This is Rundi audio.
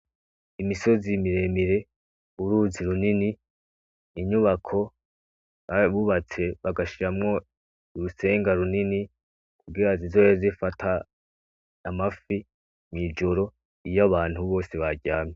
Imisozi miremire uruzi runini imyubako bubatse bagashiramwo urutsenga runini kugira zizobe zifata amafi mwijoro iyo abantu bose baryamye.